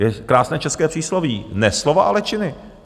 Je krásné české přísloví: Ne slova, ale činy.